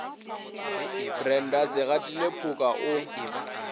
brenda se gatile phoka o